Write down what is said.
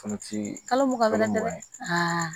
Kɔnɔti kalo muga